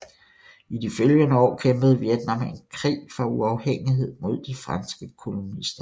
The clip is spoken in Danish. I de følgende år kæmpede Vietnam en krig for uafhængighed mod de franske kolonister